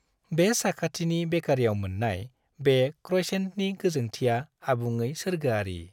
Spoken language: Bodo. बे साखाथिनि बेकारीआव मोननाय बे क्रइसेन्टनि गोजोंथिया आबुङै सोरगोआरि।